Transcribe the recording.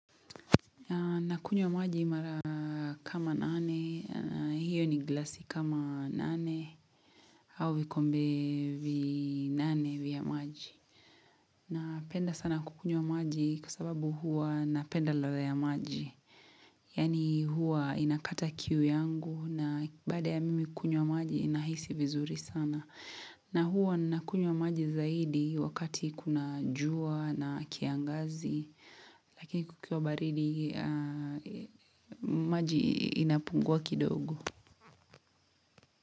Nakunywa maji mara kama nane, hiyo ni glasi kama nane, au vikombe vinane vya maji. Napenda sana kukunywa maji kwa sababu huwa napenda ladha ya maji. Yaani huwa inakata kiu yangu na baada ya mimi kunywa maji nahisi vizuri sana. Na huwa nakunywa maji zaidi wakati kuna jua na kiangazi lakini kukiwa baridi maji inapungua kidogo.